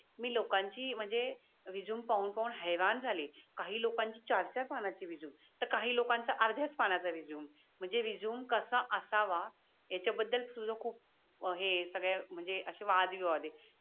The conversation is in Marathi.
मी लोकाचि म्हणजे रेझूम पाहून पाहून झाले. काही काही लोकाचि चार चार पानाची रेझूमे तर काही लोकान च आर्ध्या पानाचा रेझूमे म्हणजे रेझूमे कसा असावा याच्या बदल तुझ खूप हे ये सगळ्या म्हणजे वाद विवाद येत.